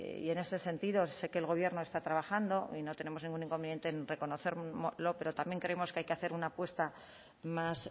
y en este sentido sé que el gobierno está trabajando y no tenemos ningún inconveniente en reconocerlo pero también creemos que hay que hacer una apuesta más